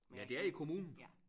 Ja det er i kommunen